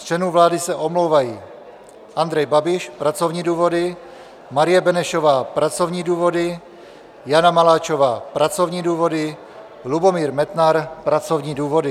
Z členů vlády se omlouvají: Andrej Babiš, pracovní důvody, Marie Benešová - pracovní důvody, Jana Maláčová - pracovní důvody, Lubomír Metnar - pracovní důvody.